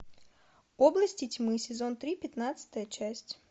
области тьмы сезон три пятнадцатая часть